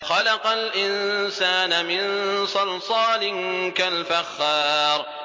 خَلَقَ الْإِنسَانَ مِن صَلْصَالٍ كَالْفَخَّارِ